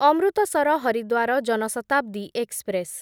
Amritsar Haridwar Jan Shatabdi express